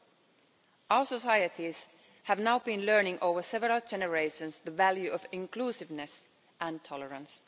Our societies have now been learning over several generations the value of inclusiveness and tolerance.